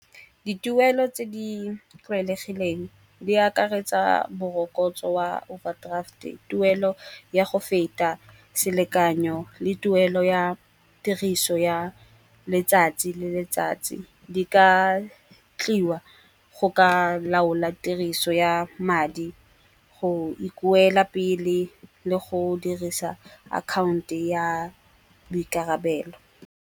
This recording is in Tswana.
Dituelo tse di tlwaelegileng di akaretsa bo morokotso wa overdraft-e, tuelo ya go feta selekanyo le tuelo ya tiriso ya letsatsi le letsatsi. Di ka tliwa go ka laola tiriso ya madi go ikoela pele le go dirisa account-e ya boikarabelo.